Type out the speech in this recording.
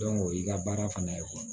o y'i ka baara fana ye koyi